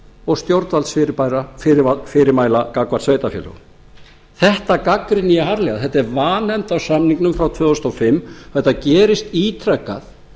og stjórnvaldsfyrirmæla gagnvart sveitarfélögunum þetta gagnrýni ég harðlega þetta er vanefnd á samningnum frá tvö þúsund og fimm þetta gerist ítrekað